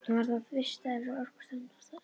Hann var þá vistaður hjá Orkustofnun og er þar enn.